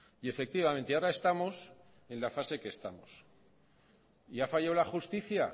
y efectivamente ahora estamos en la fase que estamos y ha fallado la justicia